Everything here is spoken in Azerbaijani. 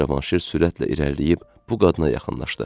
Cavanşir sürətlə irəliləyib bu qadına yaxınlaşdı